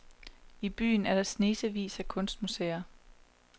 I byen er der snesevis af kunstmuseer.